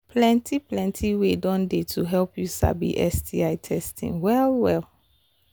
plenty plenty way don they to help you sabi sti testing well well